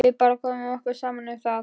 Við bara komum okkur saman um það.